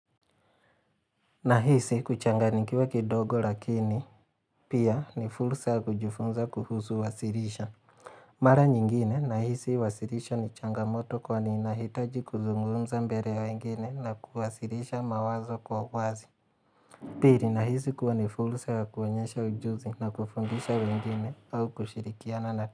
Nahisi kuchanga nikiwa kidogo lakini, pia ni fulsa kujifunza kuhusu wasirisha. Mara nyingine, nahisi wasirisha ni changamoto kwa ni inahitaji kuzungumza mbere wengine na kuwasirisha mawazo kwa wazi. Piri nahisi kuwa ni fulsa ya kuonyesha ujuzi na kufundisha wengine au kushirikiana na.